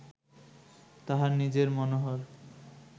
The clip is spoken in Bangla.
তাঁহার নিজেই মনোহর